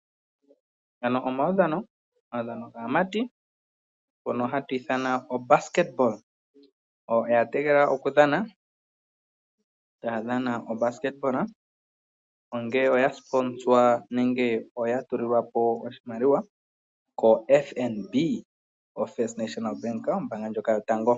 Ngano omawudhano gaamati ngono hatu ithana obasketball oya tegetela oku dhana taya dhana obasketball ongele oya sponsor nenge oya tuli lwapo oshimaliwa ko FNB oFist National Bank ombanga ndjoka yotango.